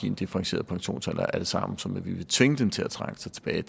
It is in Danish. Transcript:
en differentieret pensionsalder er det samme som at vi vil tvinge dem til at trække sig tilbage